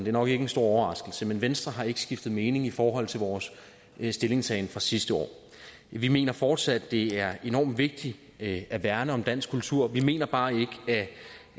er nok ikke en stor overraskelse men venstre har ikke skiftet mening i forhold til vores stillingtagen sidste år vi mener fortsat det er enormt vigtigt at at værne om dansk kultur vi mener bare